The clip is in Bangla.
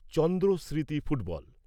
চন্দ্ৰ স্মৃতি ফুটবল